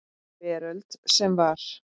Veröld sem var.